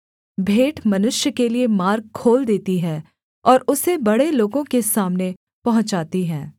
भेंट मनुष्य के लिये मार्ग खोल देती है और उसे बड़े लोगों के सामने पहुँचाती है